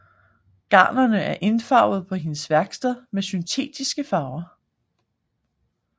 Garnerne er indfarvet på hendes værksted med syntetiske farver